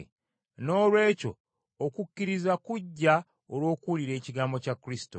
Noolwekyo okukkiriza kujja olw’okuwulira ekigambo kya Kristo.